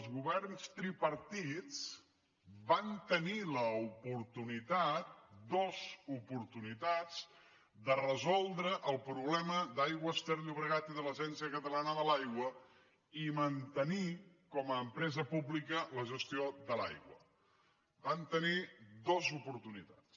els governs tripartits van tenir l’oportunitat dues oportunitats de resoldre el problema d’aigües ter llobregat i de l’agència catalana de l’aigua i mantenir com a empresa pública la gestió de l’aigua en van tenir dues oportunitats